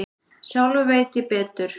Sjálfur veit ég betur.